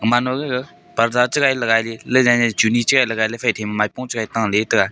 gaman ma gag parda chigai lagai lailai churni chegai lagailey faithai ma maipung chagai taley chitaiga.